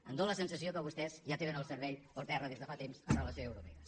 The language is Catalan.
em fa la sensació que vostès ja tenen el cervell per terra des de fa temps amb relació a eurovegas